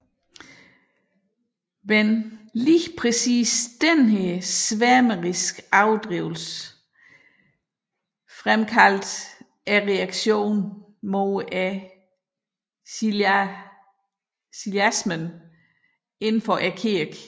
Men just denne sværmeriske overdrivelse fremkaldte reaktionen mod chiliasmen inden for kirken